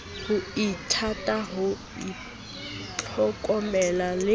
ho ithata ho ithlokomela le